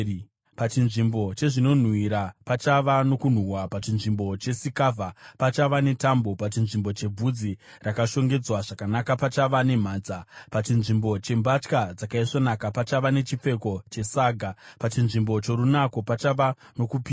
Pachinzvimbo chezvinonhuhwira, pachava nokunhuhwa; pachinzvimbo chesikavha, pachava netambo; pachinzvimbo chebvudzi rakashongedzwa zvakanaka, pachava nemhanza; pachinzvimbo chembatya dzakaisvonaka, pachava nechipfeko chesaga; pachinzvimbo chorunako, pachava nokupiswa.